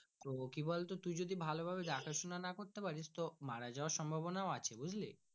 করবো কি বলতো তুই যদি ভালো ভাবে দেখা সোনা না করতে পারিস তো মারাযাওয়ার সম্ভবনা আছে বুজলি।